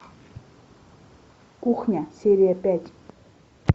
кухня серия пять